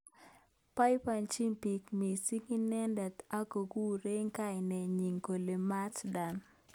Boibojin bik mising inendet ak kokurei kainet nyi kole Mat Dan.